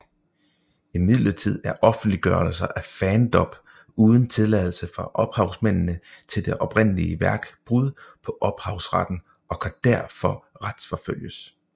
Imidlertid er offentliggørelser af fandub uden tilladelse fra ophavsmændene til det oprindelige værk brud på ophavsretten og kan derfor retsforfølges